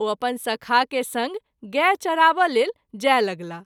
ओ अपन सखा के संग गाय चराबय लेल जाय लगलाह।